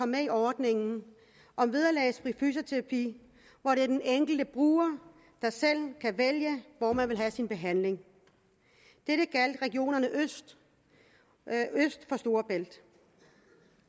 med i ordningen om vederlagsfri fysioterapi hvor det er den enkelte bruger der selv kan vælge hvor man vil have sin behandling dette gjaldt regionerne øst for storebælt